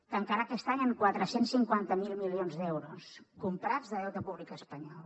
tancarà aquest any amb quatre cents i cinquanta miler milions d’euros comprats de deute públic espanyol